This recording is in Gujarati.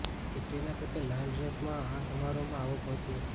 કૈટરીના કૈફ લાલ ડ્રેસ માં આ સમારોહમાં આવો પહોંચી હતી